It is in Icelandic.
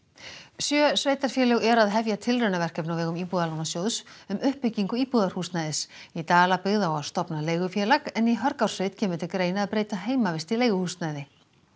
sjö sveitarfélög eru að hefja tilraunaverkefni á vegum Íbúðalánasjóðs um uppbyggingu íbúðarhúsnæðis í Dalabyggð á að stofna leigufélag en í Hörgársveit kemur til greina að breyta heimavist í leiguhúsnæði